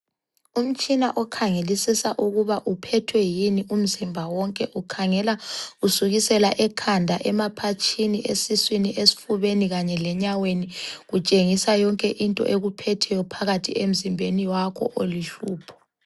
Umtshina okhangelisisa ukuba uphethwe yini umzimba wonke. Ukhangela kusukisela ekhanda, emaphatshini ,esiswini, esifubeni kanye lenyaweni. Kutshengisa yonke into ekuphetheyo phakathi emzimbeni wakho oluhlupho.